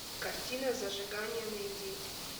картина зажигание найди